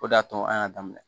O de y'a to an y'a daminɛ